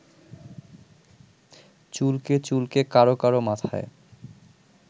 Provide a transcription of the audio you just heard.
চুলকে চুলকে কারো কারো মাথায়